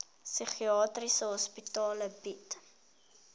psigiatriese hospitale bied